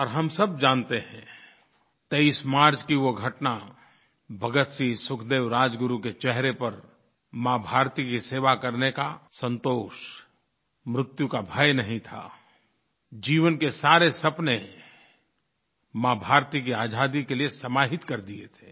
और हम सब जानते हैं 23 मार्च की वो घटना भगतसिंह सुखदेव राजगुरु के चेहरे पर माँभारती की सेवा करने का संतोष मृत्यु का भय नहीं था जीवन के सारे सपने माँभारती की आज़ादी के लिए समाहित कर दिए थे